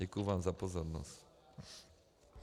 Děkuji vám za pozornost.